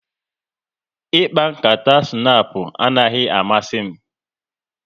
Ịkpa nkata snapu anaghị amasị m